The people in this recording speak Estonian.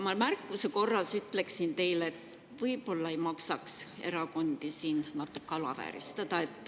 Ma märkuse korras ütlen teile, et võib-olla ei maksaks erakondi siin natuke alavääristada.